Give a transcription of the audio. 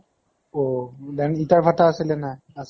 অহ, then ইটা ৰ ভাতা আছিল নে নাই? আছিলে